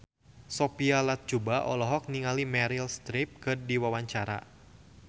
Sophia Latjuba olohok ningali Meryl Streep keur diwawancara